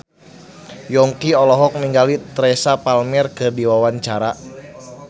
Yongki olohok ningali Teresa Palmer keur diwawancara